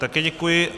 Také děkuji.